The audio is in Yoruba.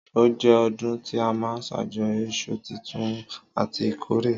Ọ jẹ ọ̀dún ti àmá sàjọyọ ìsú títùn àtí ìkọrẹ